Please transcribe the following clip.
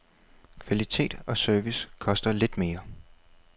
Kvalitet og service koster lidt mere.